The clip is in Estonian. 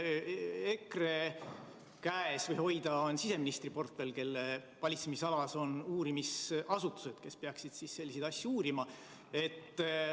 EKRE käes või hoida on siseministri portfell, kelle valitsemisalas on uurimisasutused, kes peaksid selliseid asju uurima.